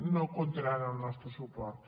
no comptaran amb el nostre suport